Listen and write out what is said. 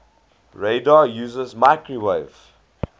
radar uses microwave